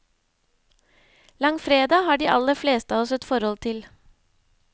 Langfredag har de aller fleste av oss et forhold til.